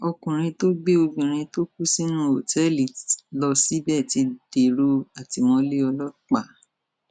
ọkùnrin tó gbé obìnrin tó kú sínú òtẹẹlì lọ síbẹ ti dèrò àtìmọlé ọlọpàá